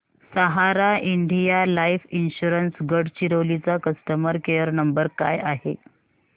सहारा India life insurance Gadchiroli चा customer care number काय आहे